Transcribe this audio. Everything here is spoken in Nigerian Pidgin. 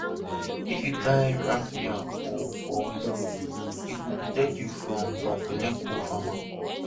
if you tie raffia for for waist e dey protect you from bad belle cofarmer